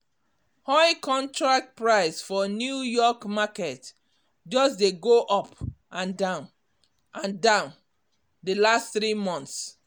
oil contract price for new york market just de go up and down and down the last three months